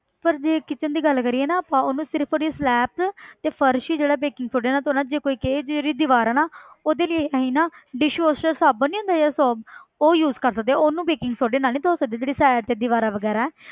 ਪਰ ਜੇ kitchen ਦੀ ਗੱਲ ਕਰੀਏ ਨਾ ਆਪਾਂ ਉਹਨੂੰ ਸਿਰਫ਼ ਉਹਦੀ slabs ਤੇ ਫ਼ਰਸ਼ ਹੀ ਜਿਹੜਾ baking soda ਨਾਲ ਧੌਣਾ ਜੇ ਕੋਈ ਇੱਕ ਇਹਦੀ ਜਿਹੜੀ ਦੀਵਾਰ ਹੈ ਨਾ ਉਹਦੇ ਲਈ ਅਸੀਂ ਨਾ dishwasher ਸਾਬਣ ਨੀ ਹੁੰਦਾ ਜਿਹੜਾ soap ਉਹ use ਕਰ ਸਕਦੇ ਹਾਂ ਉਹਨੂੰ baking soda ਨਾਲ ਨੀ ਧੌ ਸਕਦੇ ਜਿਹੜੀ side ਤੇ ਦੀਵਾਰਾਂ ਵਗ਼ੈਰਾ ਹੈ।